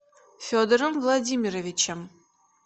федором владимировичем